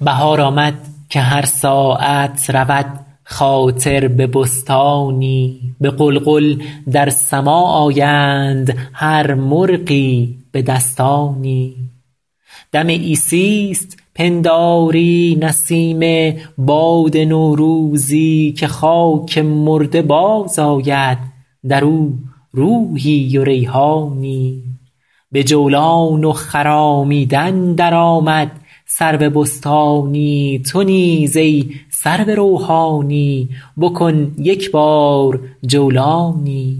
بهار آمد که هر ساعت رود خاطر به بستانی به غلغل در سماع آیند هر مرغی به دستانی دم عیسیست پنداری نسیم باد نوروزی که خاک مرده باز آید در او روحی و ریحانی به جولان و خرامیدن در آمد سرو بستانی تو نیز ای سرو روحانی بکن یک بار جولانی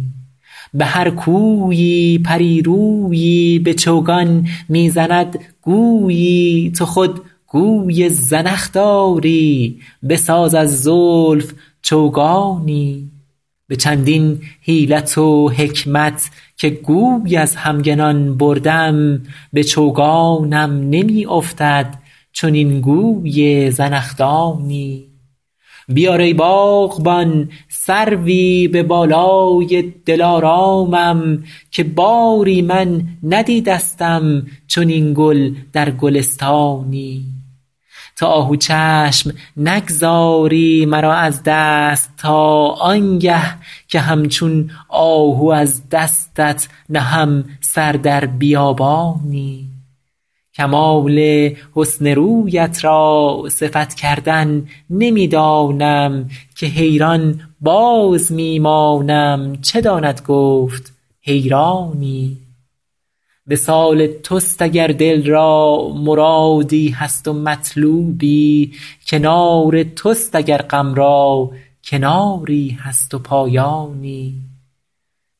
به هر کویی پری رویی به چوگان می زند گویی تو خود گوی زنخ داری بساز از زلف چوگانی به چندین حیلت و حکمت که گوی از همگنان بردم به چوگانم نمی افتد چنین گوی زنخدانی بیار ای باغبان سروی به بالای دلارامم که باری من ندیدستم چنین گل در گلستانی تو آهو چشم نگذاری مرا از دست تا آن گه که همچون آهو از دستت نهم سر در بیابانی کمال حسن رویت را صفت کردن نمی دانم که حیران باز می مانم چه داند گفت حیرانی وصال توست اگر دل را مرادی هست و مطلوبی کنار توست اگر غم را کناری هست و پایانی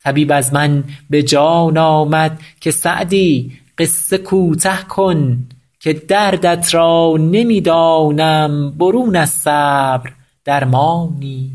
طبیب از من به جان آمد که سعدی قصه کوته کن که دردت را نمی دانم برون از صبر درمانی